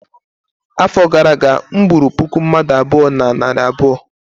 afọ gara aga, m gburu puku mmadu abụọ na narị abụọ